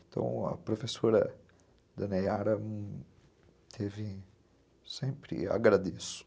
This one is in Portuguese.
Então, a professora da dona Yara teve sempre... Agradeço.